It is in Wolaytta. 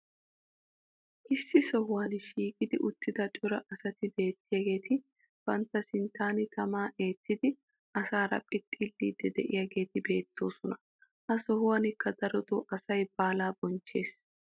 issi sohuwan shiiqqi uttida cora asati beettiyaageeti bantta sinttan tamaa eettidi asaara phixxiliiddi diyaageeti beettoosona. ha sohuwankka darotoo asay baalaa bonchchees.